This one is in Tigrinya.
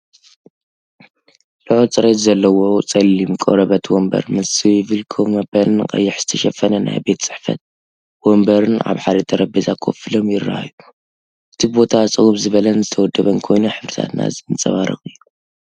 ልዑል ጽሬት ዘለዎ ጸሊም ቆርበት ወንበር ምስ ስዊቨል ኮፍ መበሊን ቀይሕ ዝተሸፈነ ናይ ቤት ጽሕፈት መንበርን ኣብ ሓደ ጠረጴዛ ኮፍ ኢሎም ይረኣዩ። እቲ ቦታ ጽምው ዝበለን ዝተወደበን ኮይኑ፡ ሕብርታትና ዘንጸባርቕ እዩ።